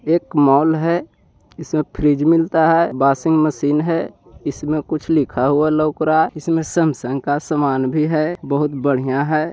एक मॉल है जिस में फ्रिज मिलता है मशीन हैं इसमें कुछ लिखा हुआ लाउक रहा है इस मे सेमसंग का समान भी है बहुत बढ़िया हैं ।